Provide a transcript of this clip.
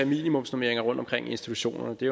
minimumsnormeringer rundtomkring i institutionerne det